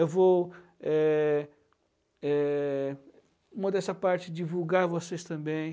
Eu vou, eh eh, em modéstia parte, divulgar a vocês também.